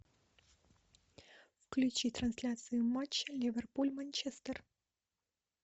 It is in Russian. включи трансляцию матча ливерпуль манчестер